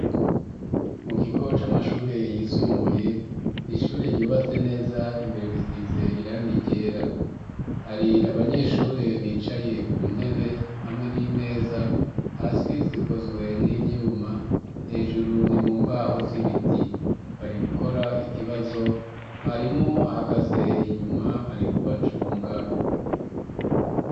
Mu kigo, c'amashure yisumbuye, ni ishure ryubatse neza, imbere risize irangi ryera; hari abanyeshure, bicaye ku ntebe, hamwe n'imeza; hasi, zikozwe n'ivyuma, hejuru, ni mu mbaho, z'ibiti; bari gukora ikibazo, mwarimu, ahagaze inyuma, ari kubacunga.